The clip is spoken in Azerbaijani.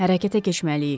Hərəkətə keçməliyik.